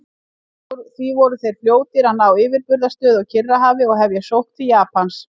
Því voru þeir fljótir að ná yfirburðastöðu á Kyrrahafi og hefja sókn til Japans.